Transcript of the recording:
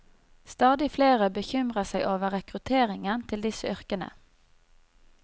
Stadig flere bekymrer seg over rekrutteringen til disse yrkene.